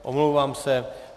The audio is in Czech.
Omlouvám se.